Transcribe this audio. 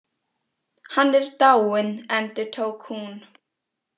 Hann er dáinn, endurtók hún.